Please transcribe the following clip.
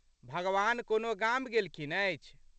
भगवान कोनो गाम गेलखिन अछि।